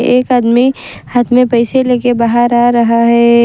एक आदमी हाथ में पैसे लेके बाहर आ रहा है।